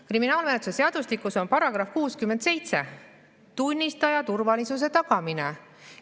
Kriminaalmenetluse seadustikus on § 67 "Tunnistaja turvalisuse tagamine".